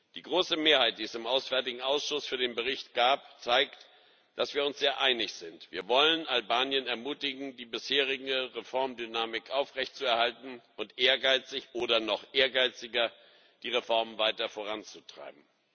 Die große Mehrheit, die es im Auswärtigen Ausschuss für den Bericht gab, zeigt, dass wir uns sehr einig sind Wir wollen Albanien ermutigen, die bisherige Reformdynamik aufrechtzuerhalten und ehrgeizig oder noch ehrgeiziger die Reformen weiter voranzutreiben.